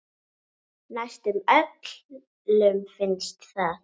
Næstum öllum finnst það.